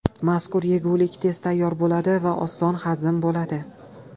Mazkur yegulik tez tayyor bo‘ladi va oson hazm bo‘ladi.